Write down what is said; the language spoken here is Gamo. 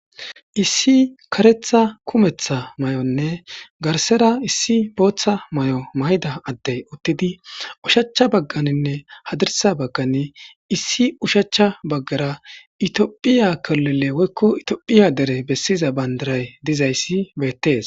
Issi kareththa kumeththa mayonne garsera issi booththa mayo mayida addey uttidi oshachcha bagganinne hadirssa baggan issi ushachcha baggara itophphiya kilile woyikko itophphiya dere bessiza bandiray bessizaysi beettees.